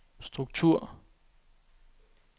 struktur